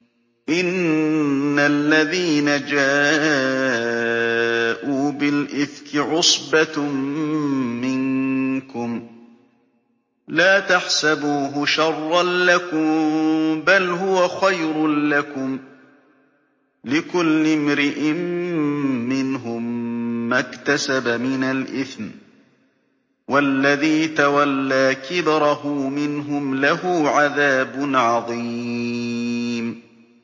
إِنَّ الَّذِينَ جَاءُوا بِالْإِفْكِ عُصْبَةٌ مِّنكُمْ ۚ لَا تَحْسَبُوهُ شَرًّا لَّكُم ۖ بَلْ هُوَ خَيْرٌ لَّكُمْ ۚ لِكُلِّ امْرِئٍ مِّنْهُم مَّا اكْتَسَبَ مِنَ الْإِثْمِ ۚ وَالَّذِي تَوَلَّىٰ كِبْرَهُ مِنْهُمْ لَهُ عَذَابٌ عَظِيمٌ